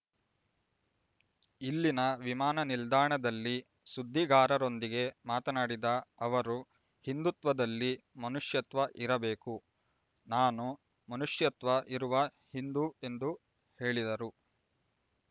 ಇಲ್ಲಿನ ವಿಮಾನ ನಿಲ್ದಾಣದಲ್ಲಿ ಸುದ್ದಿಗಾರರೊಂದಿಗೆ ಮಾತನಾಡಿದ ಅವರು ಹಿಂದುತ್ವದಲ್ಲಿ ಮನುಷ್ಯತ್ವ ಇರಬೇಕು ನಾನು ಮನುಷ್ಯತ್ವ ಇರುವ ಹಿಂದು ಎಂದು ಹೇಳಿದರು